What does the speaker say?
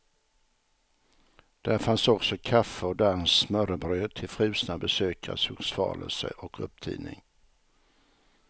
Där fanns också kaffe och danskt smörrebröd till frusna besökares hugsvalelse och upptining.